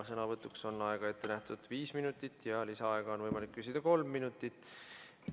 Sõnavõtuks on aega ette nähtud viis minutit ja lisaaega on võimalik küsida kolm minutit.